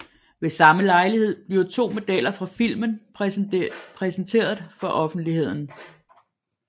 Ved samme lejlighed bliver to modeller fra filmen præsenteret for offentligheden